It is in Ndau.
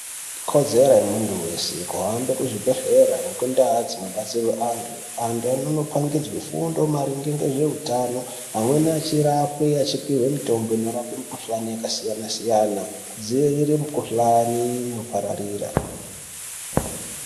Ikodzero yemuntu weshe kuenda kuzvibhehlera nekundau dzinodetserwa antu. Antu anonopangidzwe fundo maringe ngezveutano amweni achirapwe achipuwe mitombo maringe nemikhuhlane yakasiyana siyana kudzivirire mikhuhlane inopararira.